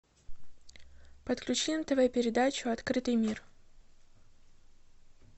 подключи нтв передачу открытый мир